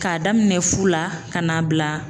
K'a daminɛ fu la ka n'a bila